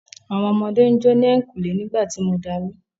Àwọn ọmọdé ń jó ní ẹ̀yìnkùlé nígbà tí mo darí.